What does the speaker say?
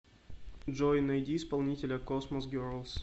джой найди исполнителя космос герлс